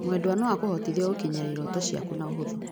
Mwendwa no akũhotithie gũkinyĩra irooto ciaku na ũhũthũ.